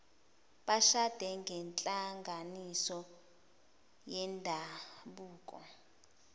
bashade ngenhlanganiso yendabuko